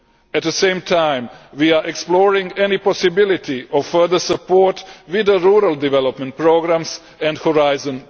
At the same time, we are exploring any possibility of further support with the rural development programmes and Horizon